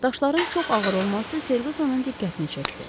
Daşların çox ağır olması Ferqqusonun diqqətini çəkdi.